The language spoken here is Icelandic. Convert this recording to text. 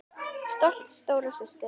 Stolt stóra systir.